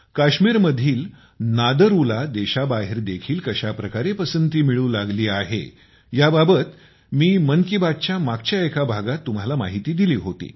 काश्मीरमधील नादरु देशाबाहेर देखील कशा प्रकारे पसंती मिळू लागली आहे याबाबत मी मन की बातच्या मागच्या एका भागात तुम्हांला माहिती दिली होती